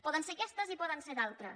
poden ser aquestes i poden ser d’altres